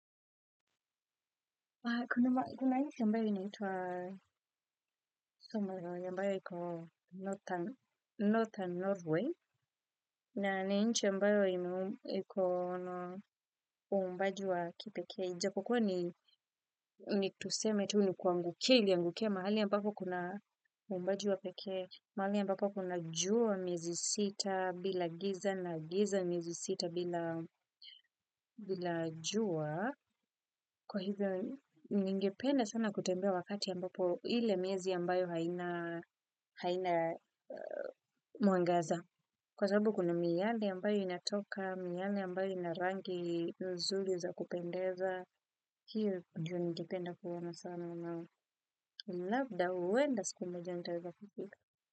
Kuna nchi ambayo inaitwa Somerville, ambayo iko Northern Norway, na nchi ambayo iko na uumbaji wa kipekee. Kukua ni tuseme tu ni kuangukia, iliangukia mahali ambapo kuna uumbaji wapekee, mahali ambapo kuna jua mezi sita bila giza na giza mezi sita bila jua. Kwa hivyo, ningependa sana kutembea wakati ambapo ile miezi ambayo haina mwangaza. Kwa sababu kuna miale ambayo inatoka, miale ambayo inarangi nzuri za kupendeza. Hiyo, ju ningependa kuona sana. Na labda, huenda, siku moja nitaeza kufika.